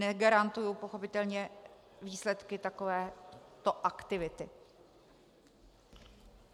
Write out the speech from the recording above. Negarantuji pochopitelně výsledky takovéto aktivity.